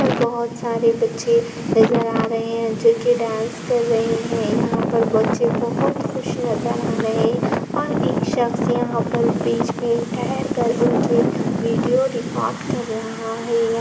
यहाँ पर बहुत सारे बच्चे नज़र् आ रहें हैं जो की डांस कर रहें हैं। यहाँ पर बच्चे बहुत खुश नजर आ रहें हैं और एक शख्श यहाँ पर बीच में ठहर कर उनकी वीडियो रिकार्ड कर रहा है। य --